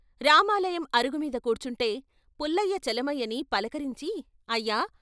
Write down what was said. రామాలయం అరుగుమీద కూర్చుంటే పుల్లయ్య చలమయ్యని పలకరించి ' అయ్యా!